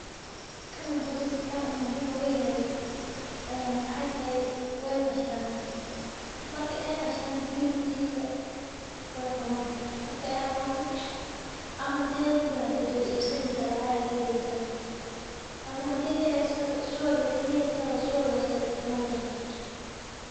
Kanu waxu dadka muhiim oga yahay maxa waye dadka wey qashan lacag ayey ka helayan suwagas aya isticmaleysa sas waye Mark shaqa muhiim waye galadha aya kudaqdan waxan.